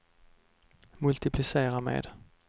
multiplicera med